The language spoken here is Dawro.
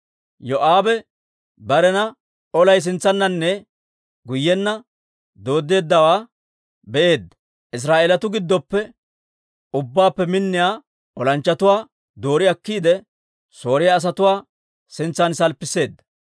Yoo'aabe barena olay sintsananne guyyenna dooddeeddawaa be'eedda; Israa'eelatuu giddoppe ubbaappe minniyaa olanchchatuwaa doori akkiide, Sooriyaa asatuwaa sintsan salppisseedda.